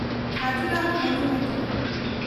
Khajuraho monuments ᱠᱚ